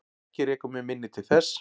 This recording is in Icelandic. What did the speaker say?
Ekki rekur mig minni til þess.